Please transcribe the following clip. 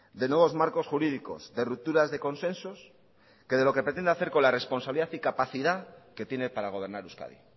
de nuevos marcos jurídicos de rupturas de consensos que de lo que pretende hacer con la responsabilidad y capacidad que tiene para gobernar euskadi